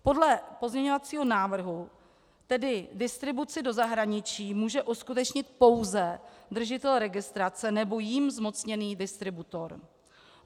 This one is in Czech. Podle pozměňovacího návrhu tedy distribuci do zahraničí může uskutečnit pouze držitel registrace nebo jím zmocněný distributor.